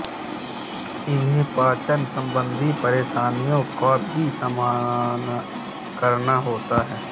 इन्हें पाचन सम्बन्धी परेशानियों का भी सामना करना होता है